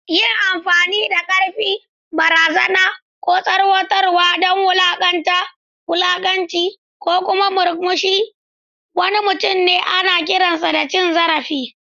Yin amfani da ƙarfi, barazana, ko tsoratarwa don wulaƙanta, wulakanci, ko kuma murkushe wani mutum ana kiransa da cin zarafi.